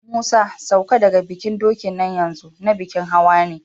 Musa, ka sauka daga kan dokin nan yanzu, na bikin hawa ne!